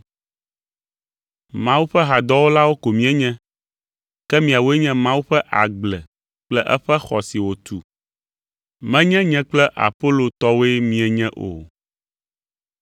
Mawu ƒe hadɔwɔlawo ko míenye, ke miawoe nye Mawu ƒe agble kple eƒe xɔ si wòtu, menye nye kple Apolo tɔwoe mienye o.